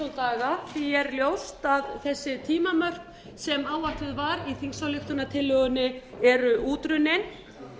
daga því er ljóst að þessi tímamörk sem áætluð voru í þingsályktunartillögunni eru útrunnin